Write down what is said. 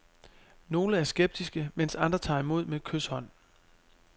Nogle er skeptiske, mens andre tager imod med kyshånd.